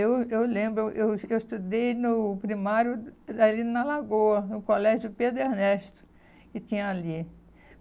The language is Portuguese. Eu eu lembro, eu es eu estudei no primário ali na Lagoa, no colégio Pedro Ernesto, que tinha ali.